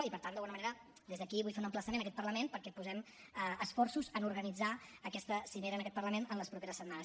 i per tant d’alguna manera des d’aquí vull fer un emplaçament a aquest parlament perquè posem esforços en organitzar aquesta cimera en aquest parlament en les properes setmanes